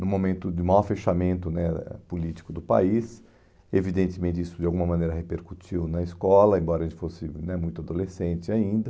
no momento de maior fechamento né político do país, evidentemente isso de alguma maneira repercutiu na escola, embora a gente fosse né muito adolescente ainda.